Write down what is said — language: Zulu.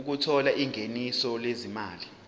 othola ingeniso lezimali